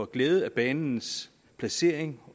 glæde af banens placering